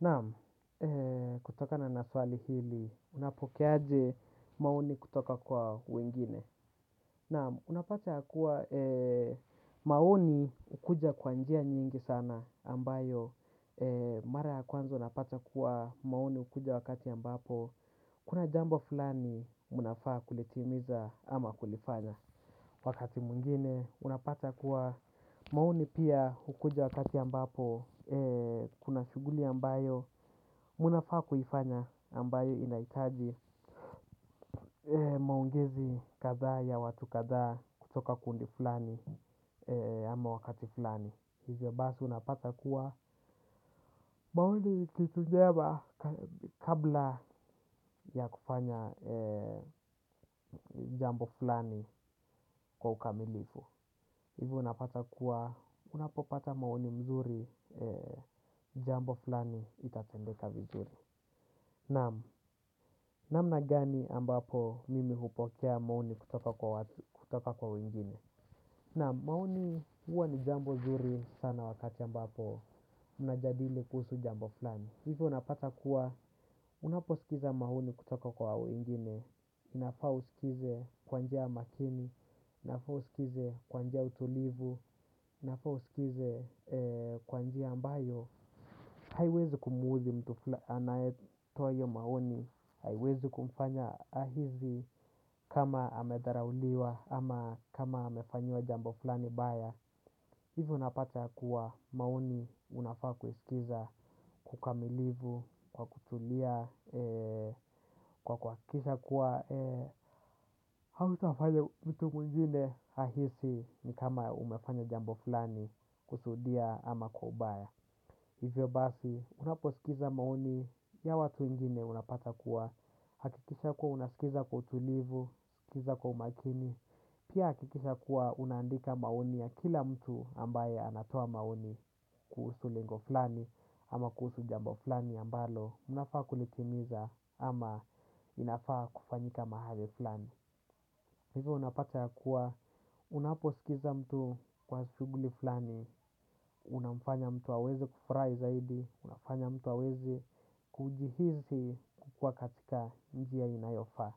Naam, kutokana na swali hili unapokea aje maoni kutoka kwa wengine? Naam. Unapata kuwa maoni hukuja kwa njia nyingi sana ambayo mara ya kwanza unapata kuwa maoni hukuja wakati ambapo kuna jambo fulani munafaa kutimiza ama kulifanya wakati mwingine, unapata kuwa maoni pia hukuja wakati ambapo kuna shughuli ambayo munafaa kuifanya ambayo inahitaji maongezi kadhaa ya watu kadhaa kutoka kundi fulani ama wakati fulani. Hivyo basi unapata kuwa maoni ni kitu njema kabla ya kufanya jambo fulani kwa ukamilifu. Hivo unapata kuwa unapopata maoni mzuri, jambo fulani itatendeka vizuri. Naam, namna gani ambapo mimi hupokea maoni kutoka kwa wengine? Naam, maoni huwa ni jambo zuri sana wakati ambapo munajadili kuhusu jambo fulani. Hivyo unapata kuwa unaposkiza maoni kutoka kwa wengine, inafaa uskize kwa njia ya makini, inafaa uskize kwa njia ya utulivu, inafaa uskize kwa njia ambayo haiwezi kumudhi mtu anayetoa hio maoni, haiwezi kumfanya ahisi kama ametharauliwa ama kama amefanyiwa jambo fulani baya. Hivyo unapata kuwa maoni unafaa kuisikiza kwa ukamilivu, kwa kutulia, kwa kwa kisa kuwa hauta fanya mtu mwingine ahisi ni kama umefanya jambo fulani kusudia ama kwa ubaya. Hivyo basi, unaposikiza maoni ya watu wengine unapata kuwa, hakikisha kuwa unasikiza kwa utulivu, skiza kwa umakini, pia hakikisha kuwa una andika maoni ya kila mtu ambaye anatoa maoni kuhusu lengo flani ama kuhusu jambo flani ambalo munafaa kulitimiza ama inafaa kufanyika mahali flani. Hivo unapata ya kuwa unaposikiza mtu kwa shuguli flani unamfanya mtu aweze kufurahi zaidi, unafanya mtu hawezi kujihisi kukuwa katika njia inayofaa.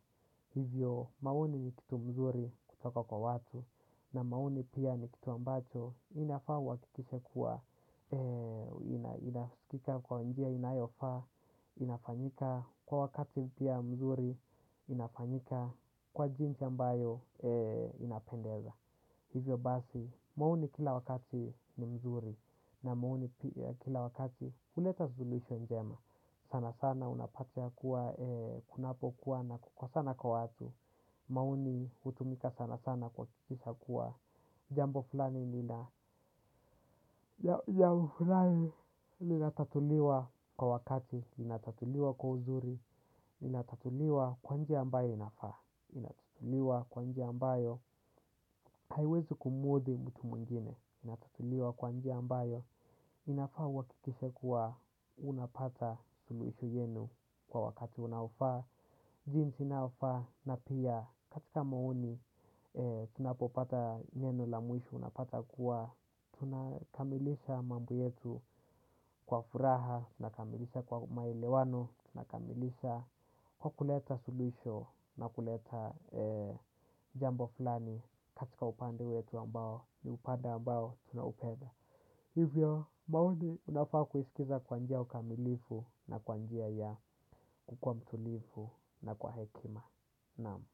Hivyo maoni ni kitu mzuri kutoka kwa watu. Na maoni pia ni kitu ambacho inafaa uhakikishe kuwa inasikika kwa njia inayofaa, inafanyika kwa wakati pia mzuri, inafanyika kwa jinsi ambayo inapendeza. Hivyo basi, maoni kila wakati ni mzuri na maoni pia kila wakati huleta suluhusho njema. Sanasana unapata kuwa kunapokuwa na kukosana na watu mMaoni hutumika sanasana kuhakikisha kuwa jambo fulani lina jambo fulani linatatuliwa kwa wakati, linatatuliwa kwa uzuri, linatatuliwa kwa njia ambaye inafaa, inatatuliwa kwa njia ambayo haiwezi kumudhi mtu mwingine. Inatatuliwa kwa njia ambayo inafaa uhakikishe kuwa unapata suluhisho yenu kwa wakati unaofaa, jinsi unaofaa na pia katika maoni tunapopata neno la mwisho, unapata kuwa tuna kamilisha mambo yetu lwa furaha, unakamilisha kwa maelewano, unakamilisha kwa kuleta suluhisho na kuleta jambo fulani katika upande wetu ambao ni upande ambao tuna upenda. Hivyo maoni unafaa kuisikiza kwa njia ukamilifu na kwa njia ya kukua mtulifu na kwa hekima, namu.